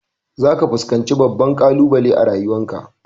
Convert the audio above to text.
Za ka fuskanci babban ƙalubale a rayuwan ka